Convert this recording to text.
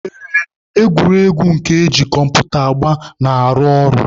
Ee, egwuregwu nke eji kọmputa agba na-arụ ọrụ.